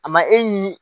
A ma e ni